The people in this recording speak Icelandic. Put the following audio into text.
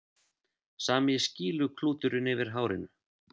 Sami skýluklúturinn yfir hárinu.